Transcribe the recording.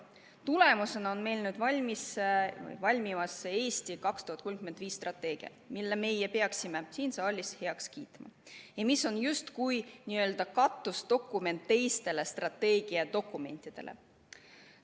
Selle tulemusena on meil nüüd strateegia "Eesti 2035", mille me peaksime siin saalis heaks kiitma ja mis on justkui katusdokument teistele strateegiadokumentidele.